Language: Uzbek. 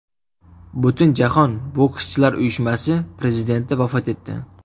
Butunjahon bokschilar uyushmasi prezidenti vafot etdi.